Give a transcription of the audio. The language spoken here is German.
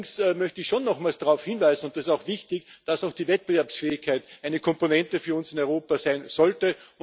Allerdings möchte ich schon nochmals darauf hinweisen und das ist auch wichtig dass auch die Wettbewerbsfähigkeit eine Komponente für uns in Europa sein sollte.